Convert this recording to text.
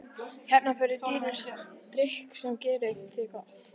Hérna færðu dýran drykk sem gerir þér gott.